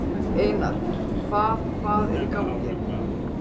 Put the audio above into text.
Einar, hvað hvað er í gangi?